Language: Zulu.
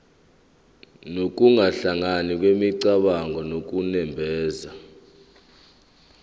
nokuhlangana kwemicabango nokunemba